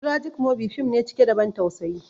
"Tragic movie" fim ne cike da ban tausayi